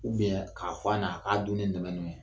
k'a fɔ a ɲɛna a k'a dunni nɛmɛnɛmɛ